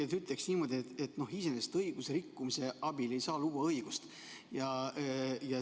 Ma ütleksin niimoodi, et iseenesest ei saa õigusrikkumise abil luua õigust.